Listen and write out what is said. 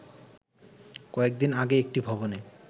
কয়েকদিন আগে একটি ভবনে